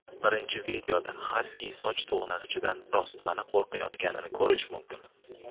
Birinchi videoda xaski soch to‘g‘nag‘ichidan rostmana qo‘rqayotganini ko‘rish mumkin.